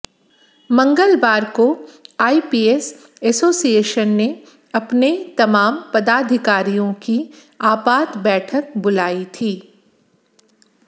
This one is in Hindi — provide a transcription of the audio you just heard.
मंगलवार को आईपीएस एसोसिएशन ने अपने तमाम पदाधिकारियों की आपात बैठक बुलाई थी